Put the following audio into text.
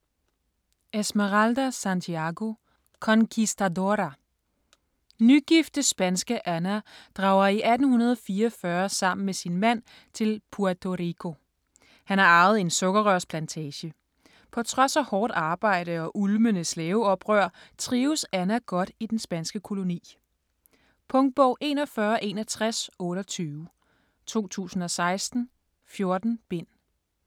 Santiago, Esmeralda: Conquistadora Nygifte spanske Ana drager i 1844 sammen med sin mand til Puerto Rico. Han har arvet en sukkerrørsplantage. På trods af hårdt arbejde og ulmende slaveoprør trives Ana godt i den spanske koloni. Punktbog 416128 2016. 14 bind.